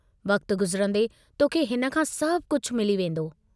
वक्त गुज़रन्दे तोखे हिन खां सभु कुझ मिली वेन्दो।